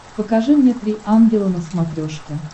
покажи мне три ангела на смотрешке